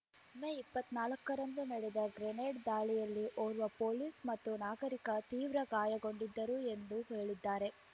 ಮೇ ಇಪ್ಪತ್ತ್ ನಾಲ್ಕರಂದು ನಡೆದ ಗ್ರೆನೇಡ್ ದಾಳಿಯಲ್ಲಿ ಓರ್ವ ಪೊಲೀಸ್ ಮತ್ತು ನಾಗರಿಕ ತೀವ್ರ ಗಾಯಗೊಂಡಿದ್ದರು ಎಂದು ಹೇಳಿದ್ದಾರೆ